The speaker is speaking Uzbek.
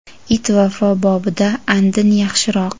It vafo bobida andin yaxshiroq.